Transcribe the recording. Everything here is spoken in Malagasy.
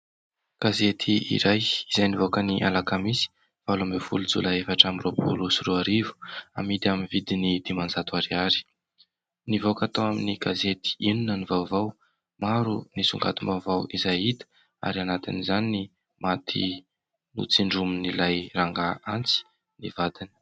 Gazety iray izay nivoaka ny alakamisy valo amby folo jolay efatra amby roapolo sy roarivo amidy amin' ny vidiny dimanjato ariary. Nivoaka tao amin' ny gazety inona ny vaovao, maro ny songadim-baovao izay hita ary anatin' izany ny maty notsindromin' ilay rangahy antsy ny vadiny.